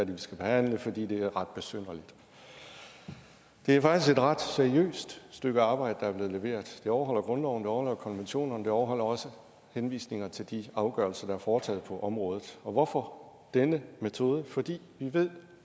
vi skal behandle fordi det er ret besynderligt det er faktisk et ret seriøst stykke arbejde der er blevet leveret vi overholder grundloven vi overholder konventionerne vi overholder også henvisninger til de afgørelser der er foretaget på området og hvorfor denne metode fordi vi ved